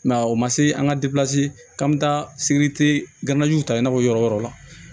Mɛ o ma se an ka k'an bɛ taa sibiri ganjiw ta i n'a fɔ yɔrɔ yɔrɔ la